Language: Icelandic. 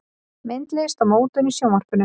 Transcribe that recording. Myndlist og mótun í Sjónvarpinu